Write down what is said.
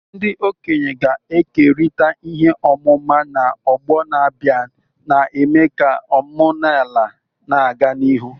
Ndị okenye ga-ekerịta ihe ọmụma na ọgbọ na-abịa, na-eme ka omenala na-aga n'ihu.